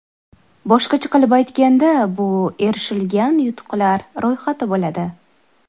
Boshqacha qilib aytganda, bu erishilgan yutuqlar ro‘yxati bo‘ladi.